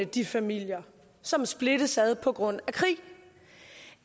de familier som splittes ad på grund af krig